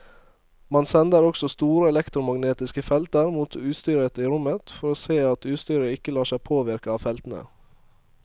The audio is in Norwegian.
Man sender også store elektromagnetiske felter mot utstyret i rommet for å se at utstyret ikke lar seg påvirke av feltene.